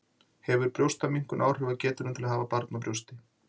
Hefur brjóstaminnkun áhrif á getuna til að hafa barn á brjósti?